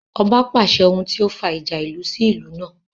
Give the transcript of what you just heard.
Ọba pàṣẹ ọsẹ́ tí ó fa ìjà ìlú sí ìlú náà